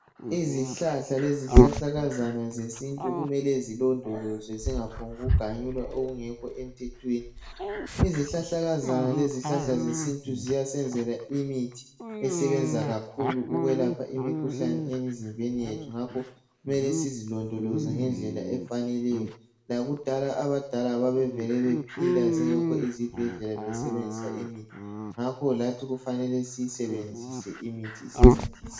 Izihlahla lezihlahlakazana zesintu kumele zilondolozwe zingaphongu ganyulwa okungekho emthethweni. Izihlahlakazana lezihlahla zesintu ziyasenzela imithi esebenza kakhulu ukwelapha imikhuhlane emizimbeni yethu, ngakho mele sizilondoloze ngendlela efaneleyo. Lakudala abadala babevele bephila zingekho izibhedlela, besebenzisa imithi, ngakho lathi kufanele siyisebenzise imithi isincedise.